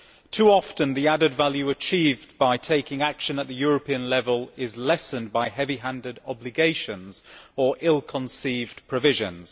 Too often the added value achieved by taking action at the European level is lessened by heavy handed obligations or ill conceived provisions.